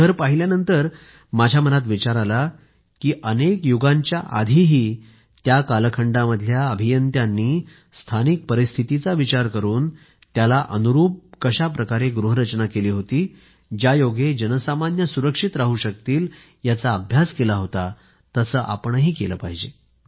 ते घर पाहिल्यानंतर माझ्या मनात विचार आला की अनेक युगांच्या आधीही त्या कालखंडामधल्या अभियंत्यांनी स्थानिक परिस्थितीचा विचार करून त्याला अनुरूप कशा प्रकारे गृहरचना केली होती ज्यायोगे जनसामान्य सुरक्षित राहू शकतील याचा अभ्यास केला होता तसे आपणही केले पाहिजे